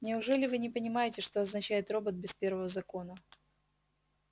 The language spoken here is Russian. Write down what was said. неужели вы не понимаете что означает робот без первого закона